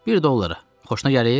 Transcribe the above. Bir dollara, xoşuna gəlir?